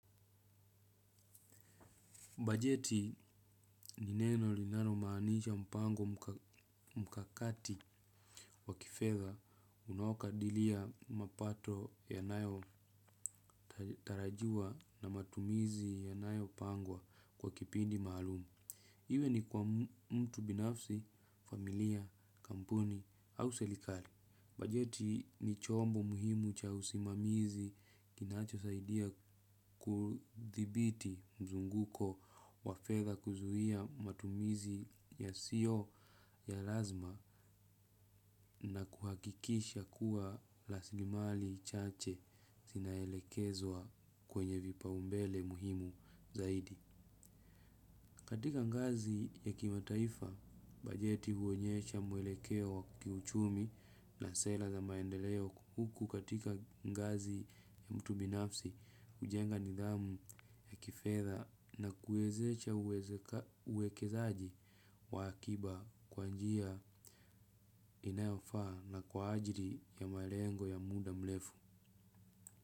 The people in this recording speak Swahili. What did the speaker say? Bajeti ni neno linalo maanisha mpango mkakati wa kifedha unaokadilia mapato yanayo tarajia na matumizi yanayo pangwa kwa kipindi maalum. Iwe ni kwa mtu binafsi, familia, kampuni au serikali bajeti ni chombo muhimu cha usimamizi kinacho saidia kudhibiti mzunguko wa fedhs kuzuia matumizi yasiyo ya lazima na kuhakikisha kuwa rasilimali chache zinaelekezwa kwenye vipaumbele muhimu zaidi. Katika ngazi ya kimataifa, bajeti huonyesha mwelekeo wa kiuchumi na sera za maendeleo huku katika ngazi ya mtu binafsi hujenga nidhamu vya kifedha na kuwezesha uwekezaji wa akiba kwa njia inayofaa na kwa ajili ya malengo ya muda mrefu.